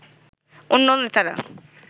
অন্য নেতারা